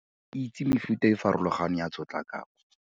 Itse mefuta e e farologaneng ya tshotlakako.